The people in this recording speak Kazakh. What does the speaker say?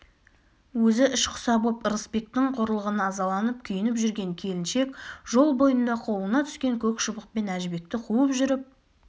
өзі ішқұса боп ырысбектің қорлығына ызаланып күйініп жүрген келіншек жол бойында қолына түскен көк шыбықпен әжібекті қуып жүріп